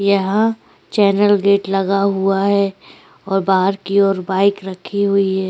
यहा channel gate लगा हुआ है और बाहर की ओर बाइक भी रखी हुई है।